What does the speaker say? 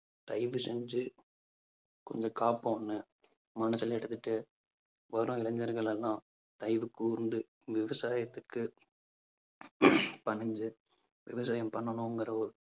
தயவு செஞ்சு கொஞ்சம் காப்போம்னு மனதில எடுத்துட்டு வரும் இளைஞர்கள் எல்லாம் தயவு கூர்ந்து விவசாயத்துக்கு பணிஞ்சு விவசாயம் பண்ணனுங்கிற ஒரு